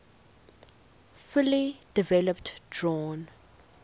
fully developed drawn